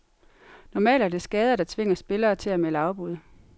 Normalt er det skader, der tvinger spillere til at melde afbud.